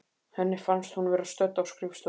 Henni fannst hún vera stödd á skrifstofu